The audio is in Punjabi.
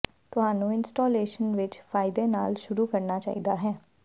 ਤੁਹਾਨੂੰ ਇੰਸਟਾਲੇਸ਼ਨ ਵਿਚ ਫਾਇਦੇ ਨਾਲ ਸ਼ੁਰੂ ਕਰਨਾ ਚਾਹੀਦਾ ਹੈ